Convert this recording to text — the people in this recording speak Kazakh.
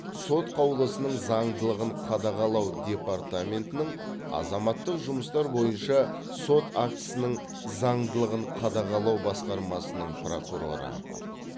сот қаулысының заңдылығын қадағалау департаментінің азаматтық жұмыстар бойынша сот актісінің заңдылығын қадағалау басқармасының прокуроры